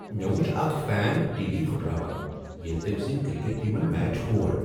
مےٚ وچھ اکھ فین ٹی وی پھٹراوان ییٚلہ تٔمۍ سٕنٛدۍ کرکٹ ٹیمن میچ ہور۔